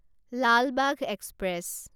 Lal Bagh express